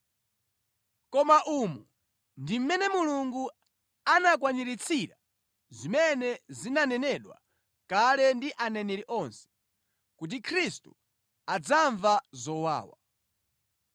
Koma umu ndi mmene Mulungu anakwaniritsira zimene zinanenedwa kale ndi aneneri onse, kuti Khristu adzamva zowawa.